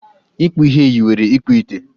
Ịkpụ ihe yiwere ịkpụ ite